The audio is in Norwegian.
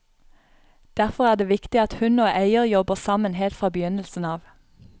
Derfor er det viktig at hund og eier jobber sammen helt fra begynnelsen av.